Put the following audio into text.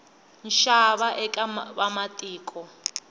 nxava eka vamatiko